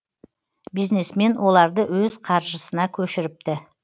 бизнесмен оларды өз қаржысына көшіріпті